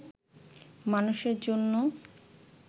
মানুষের জন‍্য